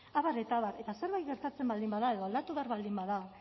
abar eta abar eta zerbait gertatzen baldin bada edo aldatu behar baldin bada